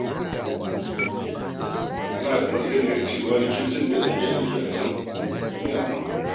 Kana da masaniyar cewa likitocin da ke aiki a can su ne a nan.